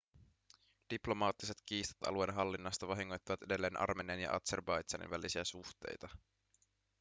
diplomaattiset kiistat alueen hallinnasta vahingoittavat edelleen armenian ja azerbaidžanin välisiä suhteita